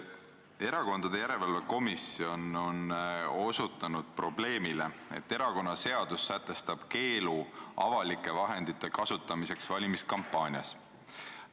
Erakondade järelevalve komisjon on osutanud probleemile, et erakonnaseadus sätestab keelu avalike vahendite kasutamiseks valimiskampaanias.